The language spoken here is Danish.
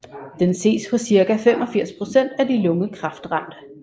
Den ses hos cirka 85 procent af de lungekræftramte